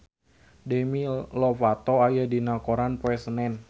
Demi Lovato aya dina koran poe Senen